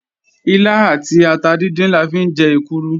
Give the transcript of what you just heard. Ilá àti ata díndín la fi ń jẹ èkuru